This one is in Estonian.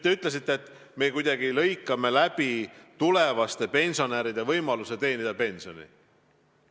Te ütlesite, et me kuidagi lõikame läbi tulevaste pensionäride võimaluse koguda pensioni.